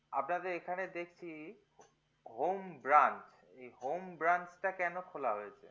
আপনাদের এখানে দেখছি home branch এই home branch টা কেনো খোলা হয়েছে